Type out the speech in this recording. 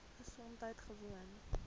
gesondheidgewoon